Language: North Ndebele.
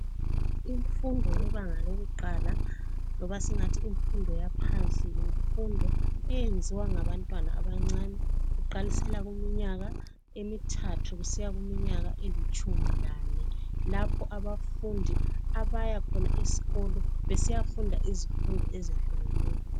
Imfundo yebanga lokuqala loba singathi imfundo yaphansi yimfundo eyenziwa ngabantwana abancane kuqalisela kuminyaka emithathu kusiya kuminyaka elitshumi lane lapho abafundi abaya khona esikolo besiya funda izifundo ezehlukeneyo.